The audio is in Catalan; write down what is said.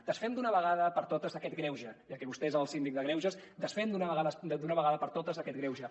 desfem d’una vegada per totes aquest greuge ja que vostè és el síndic de greuges desfem d’una vegada per totes aquest greuge